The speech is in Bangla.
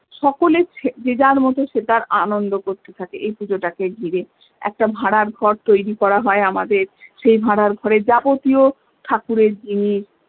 সকলে যে যার মতো সে তার মতো আনন্দ করতে থাকে এই পুজোটাকে ঘিরে একটা ভাড়ার ঘর তৈরী করা হয় আমাদের সেই ভাড়ার ঘরে যাবতীয় ঠাকুরের জিনিস